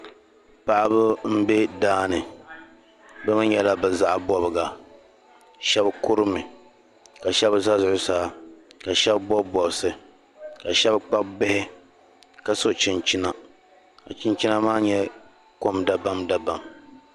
Paɣiba m-be daa ni bɛ mi nyɛla bɛ zaɣ' bɔbiga. Shɛba kurimi ka shɛba za zuɣusaa ka shɛba bɔbi bɔbisi ka shɛba kpabi bihi ka so chinchina ka chinchina maa nyɛ kom dabamdabam.